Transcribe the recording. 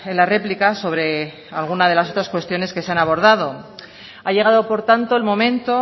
la réplica sobre alguna de las otras cuestiones que se han abordado ha llegado por tanto el momento